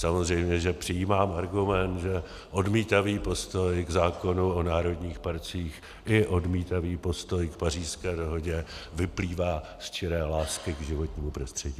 Samozřejmě že přijímám argument, že odmítavý postoj k zákonu o národních parcích i odmítavý postoj k Pařížské dohodě vyplývá z čiré lásky k životnímu prostředí.